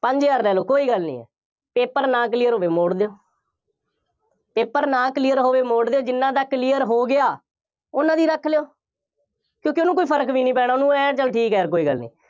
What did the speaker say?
ਪੰਜ ਹਜ਼ਾਰ ਲੈ ਲਓ, ਕੋਈ ਗੱਲ ਨਹੀਂ ਹੈ, paper ਨਾ clear ਹੋਵੇ, ਮੋੜ੍ਹ ਦਿਓ paper ਨਾ clear ਹੋਵੇ ਮੋੜ੍ਹ ਦਿਓ, ਜਿੰਨ੍ਹਾ ਦਾ clear ਹੋ ਗਿਆ, ਉਹਨਾ ਦੀ ਰੱਖ ਲਉ ਕਿਉਂਕਿ ਉਹਨੂੰ ਕੋਈ ਫਰਕ ਵੀ ਨਹੀਂ ਪੈਣਾ, ਉਹਨੂੰ ਆਏਂ ਹੈ, ਚੱਲ ਠੀਕ ਹੈ, ਕੋਈ ਗੱਲ ਨਹੀਂ।